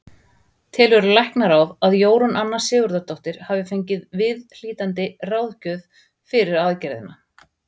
Telur læknaráð, að Jórunn Anna Sigurðardóttir hafi fengið viðhlítandi ráðgjöf fyrir aðgerðina?